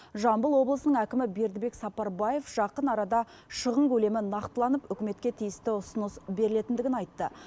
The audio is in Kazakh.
жамбыл облысының әкімі бердібек сапарбаев жақын арада шығын көлемі нақтыланып үкіметке тиісті ұсыныс берілетіндігін айтты